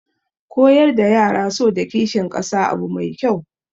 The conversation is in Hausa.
Koyar da yara so da kishin kasa abu mai kyau